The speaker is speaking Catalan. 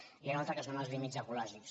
n’hi ha un altre que són els límits ecològics